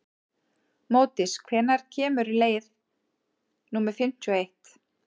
Módís, hvenær kemur leið númer fimmtíu og eitt?